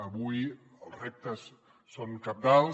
avui els reptes són cabdals